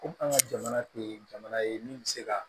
Ko an ka jamana tɛ jamana ye min bɛ se ka